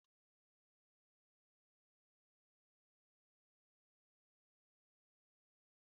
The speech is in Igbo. Ofe dị ka Ewedu, Egusi, na Banga bụ nri obodo na Naịjirịa